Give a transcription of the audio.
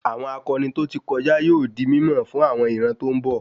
Àwọn akọni to ti kọjá yóò di mímọ̀ fún àwọn ìran tó n bọ